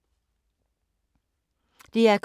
DR K